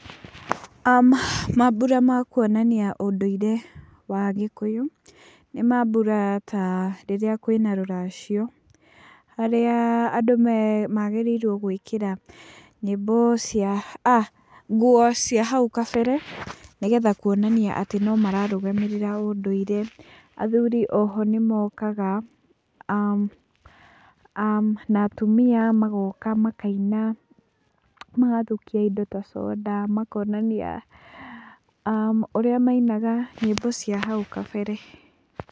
Mambura ma kũonania ũndũire wa Gĩkũyũ nĩ mambura ta rĩrĩa kũĩna rũracio, harĩa andũ magĩrĩirwo gũĩkĩra nyĩmbo cia, nguo cia hau kabere nĩgetha kuonania atĩ no mararũgamĩrĩra ũndũire. Athuri oho nimokaga na atumia magoka makaina magathukia indo ta conda, makonania ũrĩa mainaga nyĩmbo cia hau kabere.